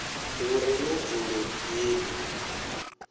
hu re na dzulo heḽi